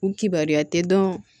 U kibaruya tɛ dɔn